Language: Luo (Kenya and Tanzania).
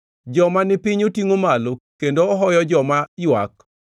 Joma ni piny otingʼo malo, kendo ohoyo joma ywak.